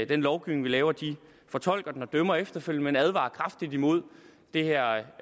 den lovgivning vi laver de fortolker den og dømmer efterfølgende men de advarer kraftigt imod det her